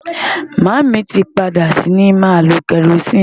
Màámi tí padà sí ní máa lo kerosene.